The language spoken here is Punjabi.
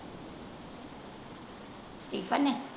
ਨੇ।